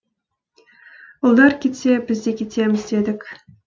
ұлдар кетсе біз де кетеміз дедік